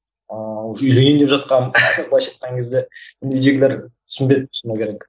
ыыы үйленейін деп жатқанмын былайша айтқан кезде үйдегілер түсінбеді шыны керек